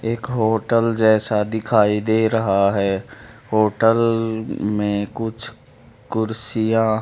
एक होटल जैसा दिखाई दे रहा है होटल में कुछ कुर्सियां--